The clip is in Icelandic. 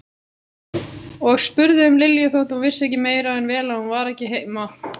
Og spurði um Lilju þótt hún vissi meira en vel að hún var ekki heima.